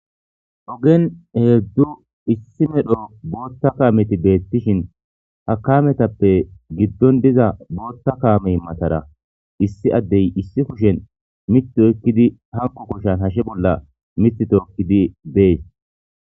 Ogen hezhu issi maedho bootha kameti beetosona ha kametappe gidon diza bootha kamey matara issi addey issi kushen mithi oykidi hanko kushan hashe bolla mithi tookidi bees